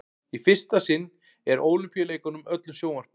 í fyrsta sinn er ólympíuleikunum öllum sjónvarpað